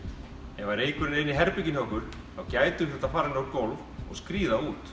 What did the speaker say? ef reykurinn er inni í herberginu hjá okkur þá gætum við þurft að fara niður á gólf og skríða út